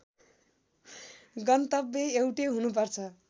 गन्तव्य एउटै हुनुपर्छ